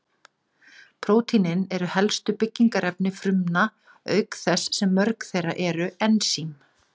Prótínin eru helstu byggingarefni frumna, auk þess sem mörg þeirra eru ensím.